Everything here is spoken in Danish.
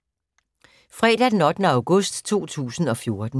Fredag d. 8. august 2014